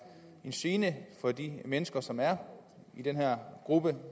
en gene for de mennesker som er i den her gruppe og